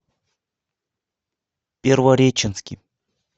первореченский